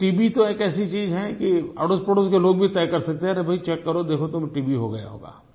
अच्छा टीबी तो एक ऐसी चीज़ है कि अड़ोसपड़ोस के लोग भी तय कर सकते है कि अरे भई चेक करो देखो टीबी हो गया होगा